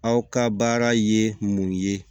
Aw ka baara ye mun ye